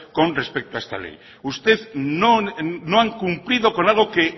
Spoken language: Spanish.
con respeto a esta ley usted no han cumplido con algo que